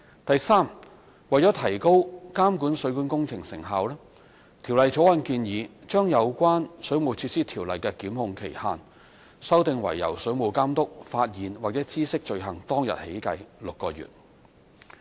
第三，為提高監管水管工程成效，《條例草案》建議將有關《水務設施條例》的檢控期限，修訂為由水務監督發現或知悉罪行當日起計6個月。